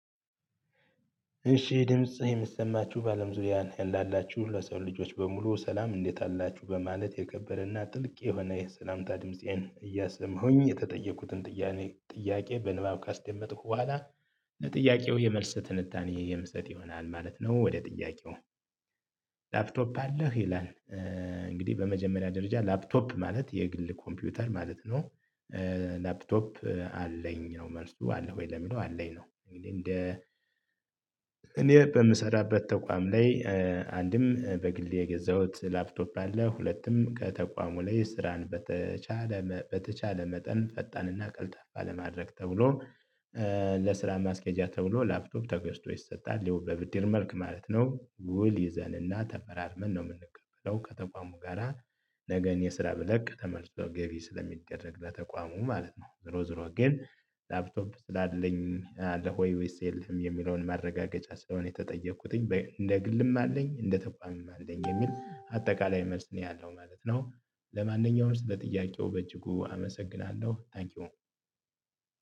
እሺ ድምጽ የምሰማችሁ በአለም ዙሪያ ላላችሁ ሁሉ ሰው ልጆች በሙሉ ሰላም እንዴት አላችሁ በማለት የከበረና ጥልቅ የሆነ የሰላምታ ድምፄን እያሰማሁኝ የተጠየኩትን ጥያቄ በንባብ ካስደመጥኩ በኋላ ለጥያቄው የመልስ ትንታኔ የምሰጥ ይሆናል ማለት ነው። ወደ ጥያቄው? ላፕቶፕ አለህ ይላል? እንግዲህ በመጀመሪያ ደረጃ ላፕቶፕ ማለት የግል ኮምፒውተር ማለት ነው። ላፕቶፕ አለኝ ነው መልሱ አለ ወይ ለሚለው አለኝ ነው። እንግዲህ እንደ እኔ በምሰራበት ተቋም ላይ። አንድም በግሌ የገዛሁት ላፕቶፕ አለ ሁለቱም ከተቋሙ ላይ ስራን በተቻለ በተቻለ መጠን ፈጣንና ቀልጣፋ ለማድረግ ተብሎ። ለስራ ማስኬጃ ተብሎ ላፕቶፕ ተገዝቶ ይሰጣል ይሄው በብድር መልክ ማለት ነው። ውል ይዘንና ተፈራርመን ነው የምንቀበለው ከተቋሙ ጋራ። ነገ እኔ ስራ ብለቅ ተመርሶ ገቢ ስለሚደረግ ለተቋሙ ማለት ነው። ዞሮ ዞሮ ግን ላፕቶፕ ስላለኝ አለ ወይ ወይስ የለህም? የሚለውን ማረጋገጫ ስለሆነ የተጠየቅኩትኝ እንደ ግልም አለኝ እንደ ተቋምም አለኝ የሚል አጠቃላይ መልስ ነው ያለው ማለት ነው። ለማንኛውም ስለ ጥያቄው በእጅጉ አመሰግናለሁ ታንኪው።